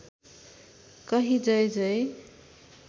कही जय जय